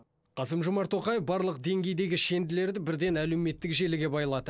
қасым жомарт тоқаев барлық деңгейдегі шенділерді бірден әлеуметтік желіге байлады